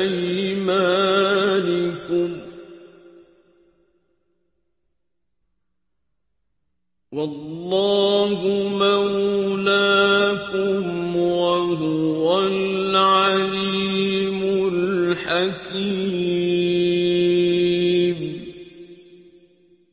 أَيْمَانِكُمْ ۚ وَاللَّهُ مَوْلَاكُمْ ۖ وَهُوَ الْعَلِيمُ الْحَكِيمُ